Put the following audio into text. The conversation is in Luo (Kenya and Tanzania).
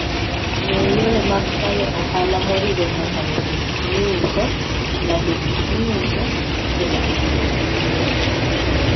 Ng'e yore mag tayo ohala moriwo nyaka loso gik miuso, lando gik miuso, koda tudruok gi kich.